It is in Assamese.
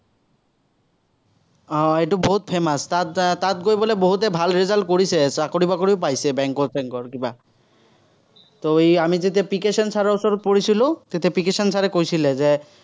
হম এইটো বহুত famous । তাত এৰ তাত গৈ বোলে বহুতে ভাল result কৰিছে, চাকৰি-বাকৰিও পাইছে bank ৰ চেংকৰ কিবা তো আমি যেতিয়া পিকে সিং চাৰৰ ওচৰত পঢ়িছিলো, তেতিয়া পিকে সিং চাৰে কৈছিলে, যে